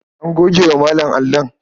An goge wa Malam allon.